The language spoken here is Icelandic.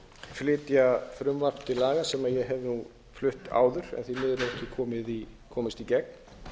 flytja frumvarp á laga sem ég hef flutt áður en því miður hefur ekki komist í gegn